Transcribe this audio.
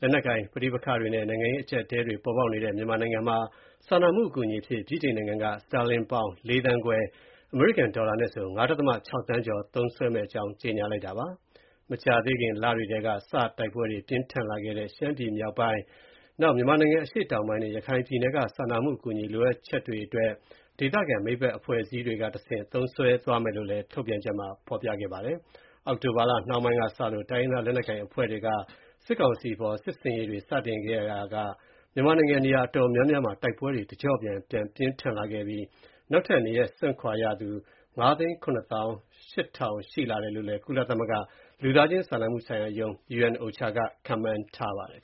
လက်နက်ကိုင် ပဋိပက္ခတွေနဲ့ နိုင်ငံရေး အကျပ်အတည်းတွေ ပေါ်ပေါက်နေတဲ့ မြန်မာနိုင်ငံမှာ စာနာမှုအကူအညီအဖြစ် ဗြိတိန်နိုင်ငံက စတာလင်ပေါင် ၄ သန်းခွဲ (ဒေါ်လာ ၅.၆ သန်းကျော်) သုံးစွဲမဲ့ အကြောင်း ကြေညာလိုက်ပါတယ်။ မကြာသေးခင် လတွေကစ တိုက်ပွဲတွေ ပြင်းထန်လာခဲ့တဲ့ ရှမ်းပြည်မြောက်ပိုင်း၊ မြန်မာနိုင်ငံ အရှေ့တောင်ပိုင်းနဲ့ ရခိုင်ပြည်နယ်က စာနာမှုအကူအညီ လိုအပ်ချက်တွေအတွက် ဒေသခံမိတ်ဖက်အဖွဲ့အစည်းတွေကတဆင့် သုံးစွဲမယ်လို့လည်း ထုတ်ပြန်ချက်မှာ ဖော်ပြခဲ့တာပါ။ အောက်တိုဘာလ နှောင်းပိုင်းကစ တိုင်းရင်းသားလက်နက်ကိုင် အဖွဲ့တွေက စစ်ကောင်စီအပေါ် စစ်ဆင်ရေးတွေ စတင်ခဲ့ရာက မြန်မာနိုင်ငံ နေရာတော်တော်များများမှာ တိုက်ပွဲတွေ တကျော့ပြန် ပြင်းထန်လာခဲ့ပြီး နောက်ထပ်နေရပ်စွန့်ခွာရသူ ၅၇၈၀၀၀ ရှိတယ်လို့လည်း ကုလသမဂ္ဂ လူသားချင်း စာနာမှုဆိုင်ရာရုံး (UNOCHA) က ခန့်မှန်းထားပါတယ်